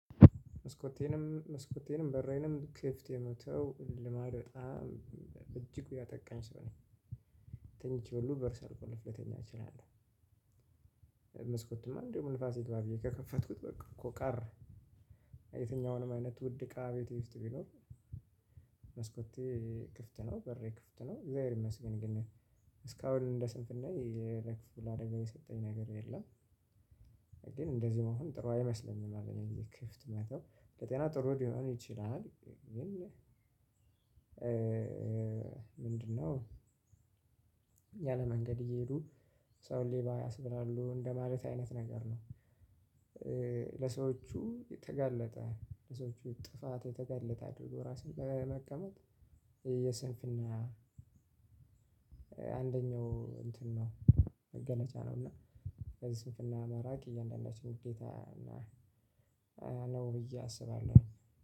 መስኮቴንም መስኮቴንም በሬንም ክፍት የመተው ልማድ በጣም በእጅጉ ያጠቃኝ ሰው ነኝ ተኝቸ ሁሉ በር ሳልቆልፍ መተኛት እችላለሁ መስኮትማ እንዴውም ነፋስ ይግባ ብየ ከከፈትኩት በቃው ቀረ የትኛውንም አይነት ውድ እቃ ቤቴ ውስጥ ቢኖር ክፍት ነው በሬ ክፍት ነው እግዚአብሔር ይመስገን ግን እስካሁን እንደ ስንፍናየ ለክፉ ለአደጋ የሰጠኝ ነገር የለም። ግን እንደዚህ መሆን ጥሩ አይመስለኝም አለኝ እዚህ ክፍት መተው ለጤና ጥሩ ሊሆን ይችላል ግን ምንድነው ያለ መንገድ እየሄዱ ሰውን ሌባ ያስብላሉ እንደማለት አይነት ነገር ነው። ለሰዎቹ የተጋለጠ ለሰዎቹ ጥፋት የተጋለጠ አድርጎ ራስን መቀመጥ የስንፍና አንደኛው እንትን ነው መገለጫ ነው እና ከዚህ ስንፍና መራቅ እያንዳንዳችን ግዴታ ነው ብዬ አስባለሁ።